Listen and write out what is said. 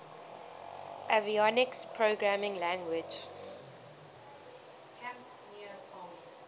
avionics programming language